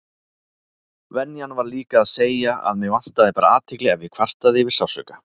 Venjan var líka að segja að mig vantaði bara athygli ef ég kvartaði yfir sársauka.